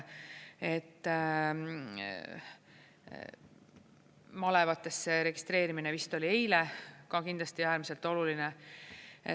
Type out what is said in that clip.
Malevatesse registreerimine vist oli eile, ka kindlasti äärmiselt oluline.